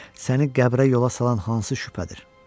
Səni qəbrə yola salan hansı şübhədir?